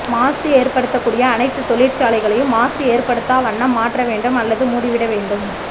மாசு ஏற்படுத்தக்கூடிய அனைத்து தொழிற்சாலைகளையும் மாசு ஏற்படுத்தாவண்ணம் மாற்ற வேண்டும் அல்லது மூடிவிட வேண்டும்